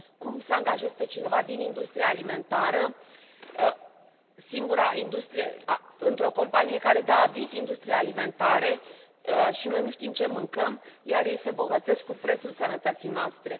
Cum să angajezi pe cineva din industria alimentară într o companie care dă aviz industriei alimentare și noi nu știm ce mâncăm, iar ei se îmbogățesc cu prețul sănătății noastre.